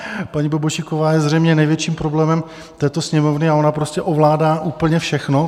Paní Bobošíková je zřejmě největším problémem této Sněmovny a ona prostě ovládá úplně všechno.